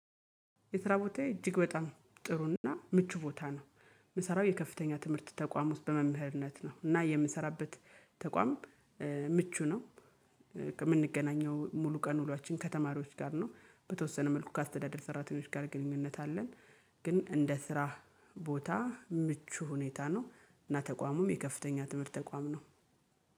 የስራ ቦታዬ እጅግ በጣም ጥሩና ምቹ ቦታ ነው። የምሰራው የከፍተኛ ትምህርት ተቋም ውስጥ በመምህርነት ነው እና የምንሰራበት ተቋም ምቹ ነው። የምንገናኘው ሙሉ ቀን ውሏችን ከተማሪዎች ጋር ነው። በተወሰነ መልኩ ከአስተዳደር ሰራተኞች ጋር ግንኙነት አለን። ግን እንደ ስራ ቦታ ምቹ ሁኔታ ነው። እና ተቋሙም የከፍተኛ ትምህርት ተቋም ነው።